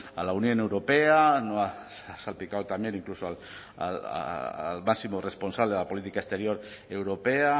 a la unión europea ha salpicado también incluso al máximo responsable de la política exterior europea